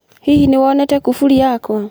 Hihi nĩ wonete kufuri yakwa?